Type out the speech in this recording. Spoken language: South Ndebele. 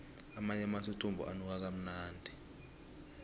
amanye amathuthumbo anuka kamnandi